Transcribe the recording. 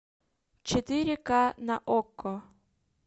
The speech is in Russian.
четыре ка на окко